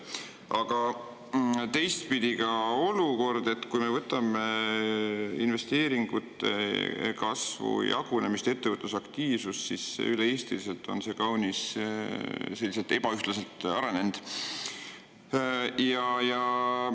Aga teistpidi on olukord selline, et kui me võtame investeeringute kasvu jagunemise ja ettevõtluse aktiivsuse, siis on need üle Eesti kaunis ebaühtlaselt.